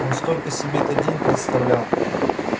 он столько себе этот день представлял